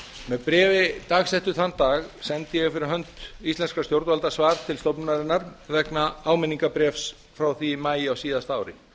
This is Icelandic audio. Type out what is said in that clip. með bréfi dagsett þann dag sendi ég fyrir hönd íslenskra stjórnvalda svar til stofnunarinnar vegna áminningarbréfs frá því í maí á síðasta ári